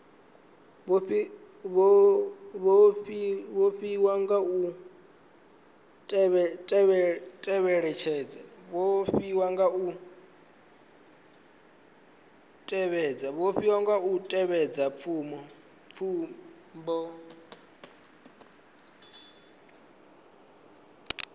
vhofhiwa nga u tevhedza tsumbo